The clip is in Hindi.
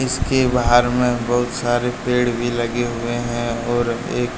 इसके बाहर में बहुत सारे पेड़ भी लगे हुए है और एक--